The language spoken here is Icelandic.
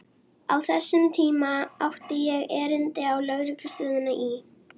Á þessum tíma átti ég erindi á lögreglustöðina í